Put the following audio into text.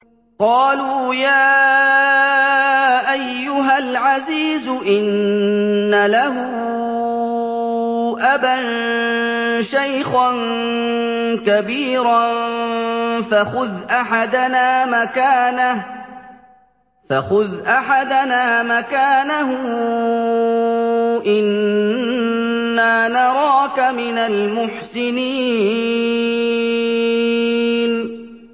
قَالُوا يَا أَيُّهَا الْعَزِيزُ إِنَّ لَهُ أَبًا شَيْخًا كَبِيرًا فَخُذْ أَحَدَنَا مَكَانَهُ ۖ إِنَّا نَرَاكَ مِنَ الْمُحْسِنِينَ